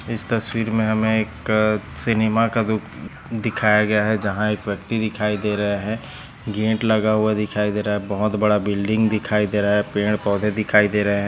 इस तस्वीर मे हमे एक सिनेमा का जो हम्म दिखाया गया है जहा एक व्यक्ति दिखाई दे रहे है गेट लगा हुआ दिखाई दे रहा है बहुत बड़ा बिल्डिंग दिखाई दे रहा है पेड़ पौधे दिखाई दे रहे है।